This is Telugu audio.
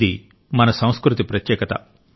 ఇది మన సంస్కృతి ప్రత్యేకత